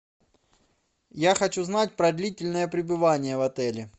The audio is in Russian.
я хочу знать про длительное пребывание в отеле